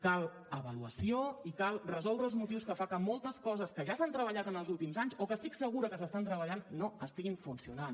cal avaluació i cal resoldre els motius que fan que moltes coses que ja s’han treballat en els últims anys o que estic segura que s’estan treballant no estiguin funcionant